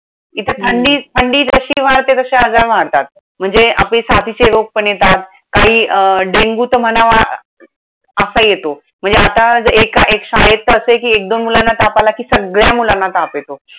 इथे थंडी, हम्म थंडी जशी वाढते तशे आजार वाढतात. म्हणजे आपले साथीचे रोग पण येतात. काही अं dengue तर म्हणावं असाही येतो. म्हणजे आता एका एक शाळेत तर असंय कि, एक दोन मुलांना ताप आला कि सगळ्या मुलांना ताप येतो.